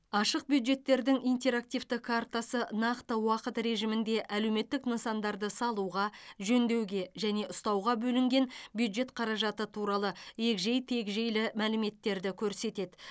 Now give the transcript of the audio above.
ашық бюджеттердің интерактивті картасы нақты уақыт режимінде әлеуметтік нысандарды салуға жөндеуге және ұстауға бөлінген бюджет қаражаты туралы егжей тегжейлі мәліметтерді көрсетеді